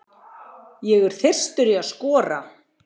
Ég er þyrstur í að skora.